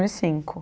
e cinco